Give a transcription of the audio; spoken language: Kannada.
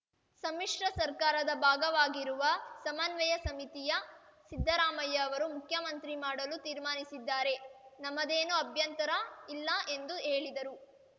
ಸಮ್ಮಿಶ್ರ ಸರ್ಕಾರದ ಭಾಗವಾಗಿರುವ ಸಮನ್ವಯ ಸಮಿತಿಯ ಸಿದ್ದರಾಮಯ್ಯ ಅವರನ್ನು ಮುಖ್ಯಮಂತ್ರಿ ಮಾಡಲು ತೀರ್ಮಾನಿಸಿದರೆ ನಮ್ಮದೇನೂ ಅಭ್ಯಂತರ ಇಲ್ಲ ಎಂದು ಹೇಳಿದರು